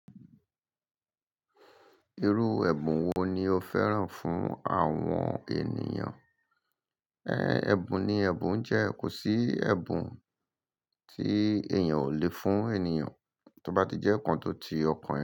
Irú ẹ̀bùn wo ni o féràn fún àwọn ènìyàn? Ẹ, ẹ̀bùn ni ẹ̀bùn, jẹ kò sí ẹ̀bùn tí èèyàn ò lè fún ènìyàn, tó bá ti jẹ́ nkán tó ti ọkàn ẹ.